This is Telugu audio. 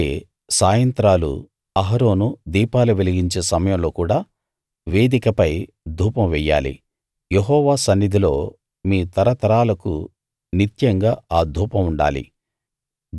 అలాగే సాయంత్రాలు అహరోను దీపాలు వెలిగించే సమయంలో కూడా వేదికపై ధూపం వెయ్యాలి యెహోవా సన్నిధిలో మీ తరతరాలకూ నిత్యంగా ఆ ధూపం ఉండాలి